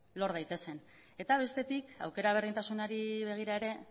lor daitezen eta bestetik aukera berdintasunari begira ere